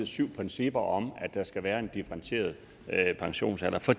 syv principper om at der skal være en differentieret pensionsalder for